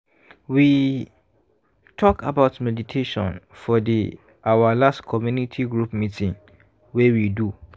we talk about meditation for the our last community group meeting wey we do.